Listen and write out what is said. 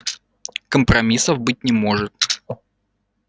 компромиссов быть не может